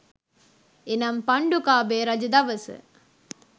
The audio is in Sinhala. එනම් පණ්ඩුකාභය රජ දවස